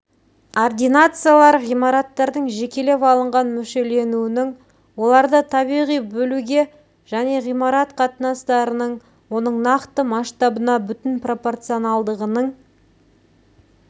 ординациялар ғимараттардың жекелеп алынған мүшеленуінің оларды табиғи бөлуге және ғимарат қатыныстыраның оның нақты масштабына бүтін пропорционалдығының